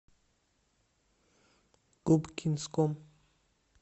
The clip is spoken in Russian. губкинском